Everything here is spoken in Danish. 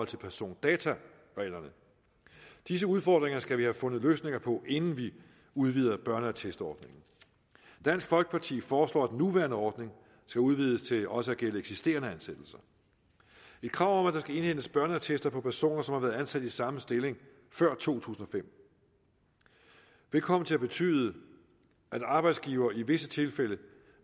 til persondatareglerne disse udfordringer skal vi have fundet løsninger på inden vi udvider børneattestordningen dansk folkeparti foreslår at den nuværende ordning skal udvides til også at gælde eksisterende ansættelser et krav om at der skal indhentes børneattester på personer som har været ansat i samme stilling før to tusind og fem vil komme til at betyde at en arbejdsgiver i visse tilfælde